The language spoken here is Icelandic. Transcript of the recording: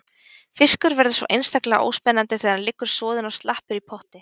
Fiskur verður svo einstaklega óspennandi þegar hann liggur soðinn og slappur í potti.